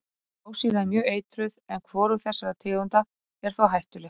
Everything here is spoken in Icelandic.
Blásýra er mjög eitruð en hvorug þessara tegunda er þó hættuleg.